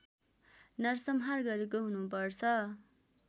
नरसंहार गरेको हुनुपर्छ